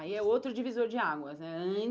Aí é outro divisor de águas, né?